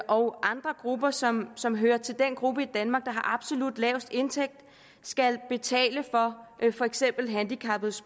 og andre grupper som som hører til den gruppe i danmark der har absolut lavest indtægt skal betale for for eksempel handicappede